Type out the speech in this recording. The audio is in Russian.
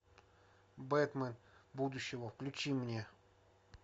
бэтмен будущего включи мне